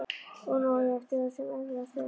Og nú á ég eftir það sem erfiðast er.